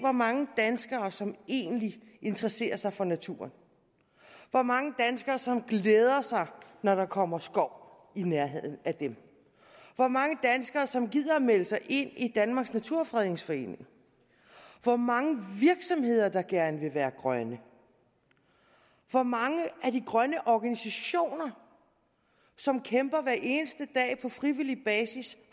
mange danskere som egentlig interesserer sig for naturen hvor mange danskere som glæder sig når der kommer skov i nærheden af dem hvor mange danskere som gider at melde sig ind i danmarks naturfredningsforening hvor mange virksomheder der gerne vil være grønne hvor mange af de grønne organisationer som kæmper hver eneste dag på frivillig basis